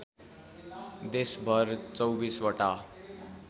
देशभर २४ वटा